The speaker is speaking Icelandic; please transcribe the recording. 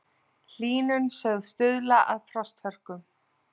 Hlýnun sögð stuðla að frosthörkum